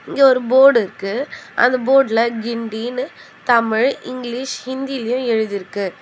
இங்க ஒரு போடு இருக்கு. அந்த போடுல கிண்டின்னு தமிழ் இங்கிலீஷ் ஹிந்திலயு எழுதிருக்கு.